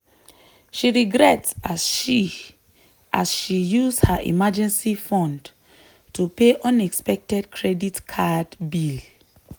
she regret as she as she use her emergency fund to pay unexpected credit card bill.